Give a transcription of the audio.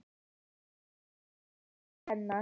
Og stekkur til hennar.